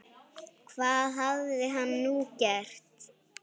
Hvað hafði hann nú gert?